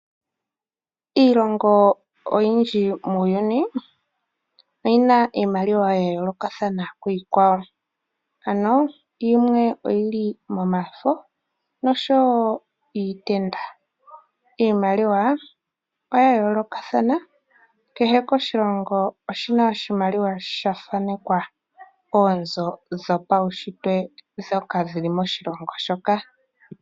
Iilongo oyindji muuyuni oyina iimaliwa ya yoolokathana kiikwawo. Ano yimwe oyili momafo noshowo iitenda. Iimaliwa oya yoolokathana, kehe oshilongo oshina oshimaliwa sha thaanekwa oonzo dhopaushitwe ndhoka dhili moshilongo shoka.